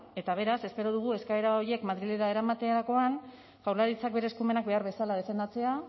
eta beraz espero dugu eskaera horiek madrilera eramaterakoan jaurlaritzak bere eskumenak behar bezala defendatzea